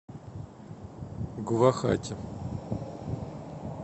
гувахати